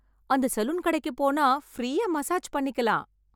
அந்த சலூன் கடைக்கு போனா ஃப்ரீயா மசாஜ் பண்ணிக்கலாம்.